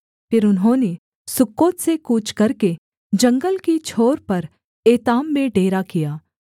फिर उन्होंने सुक्कोत से कूच करके जंगल की छोर पर एताम में डेरा किया